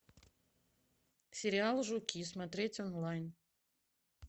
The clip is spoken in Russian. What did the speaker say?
сериал жуки смотреть онлайн